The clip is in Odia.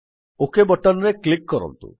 ଓକ୍ ବଟନ୍ ରେ କ୍ଲିକ୍ କରନ୍ତୁ